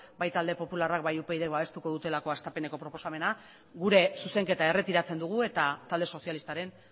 bai talde popularrak bai upydk babestuko dutelako hastapeneko proposamena gure zuzenketa erretiratzen dugu eta talde sozialistaren